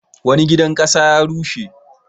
Wani gidan ƙasa ya rushe.